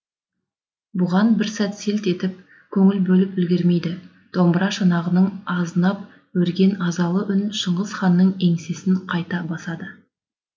бұған бір сәт селт етіп көңіл бөліп үлгермейді домбыра шанағынан азынап өрген азалы үн шыңғыс ханның еңсесін қайта басады